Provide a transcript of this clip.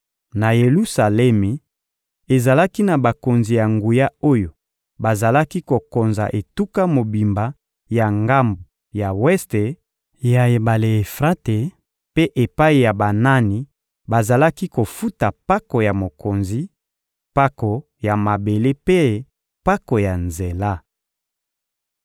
Na Yelusalemi, ezalaki na bakonzi ya nguya oyo bazalaki kokonza etuka mobimba ya ngambo ya weste ya ebale Efrate mpe epai ya banani bazalaki kofuta mpako ya mokonzi, mpako ya mabele mpe mpako ya nzela.